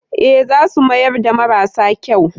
Ee, za su mayar da marasa kyau.